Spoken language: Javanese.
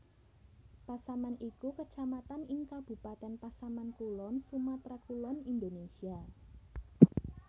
Pasaman iku Kecamatan ing Kabupatèn Pasaman Kulon Sumatra Kulon Indonesia